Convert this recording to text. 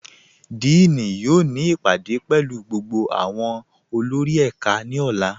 Díìní yóò ni ipádé pẹ̀lú gbogbo awọn olórì ẹká ni ọ̀là.